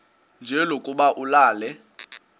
nje lokuba ulale